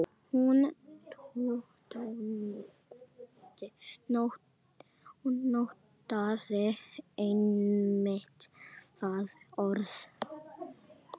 Hún notaði einmitt þetta orð.